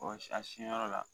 a sin yɔrɔ la,